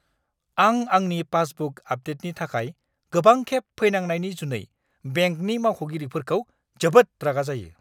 आं आंनि पासबुक आपडेटनि थाखाय गोबांखेब फैनांनायनि जुनै बेंकनि मावख'गिरिफोरखौ जोबोद रागा जायो!